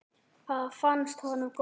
Það fannst honum gott.